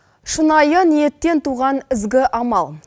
шынайы ниеттен туған ізгі амал